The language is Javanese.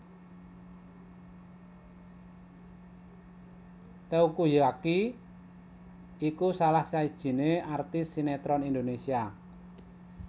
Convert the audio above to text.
Teuku Zacky iku salah sijiné artis sineron Indonesia